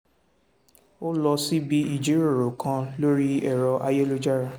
ó lọ síbi ìjíròrò kan lórí ẹ̀rọ ayélujára